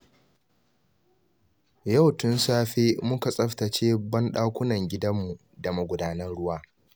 Yau tun safe muka tsaftace banɗakunan gidanmu da magudanan ruwa